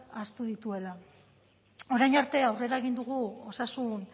ahaztu dituela orain arte aurrera egin dugu osasun